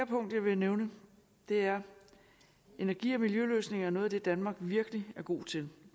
punkt jeg vil nævne er at energi og miljøløsninger er noget af det danmark virkelig er god til